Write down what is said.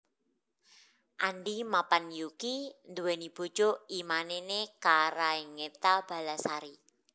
Andi Mappanyukki nduweni bojo I Mane ne Karaengta Ballasari